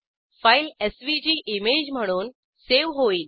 file SVG image म्हणून save होईल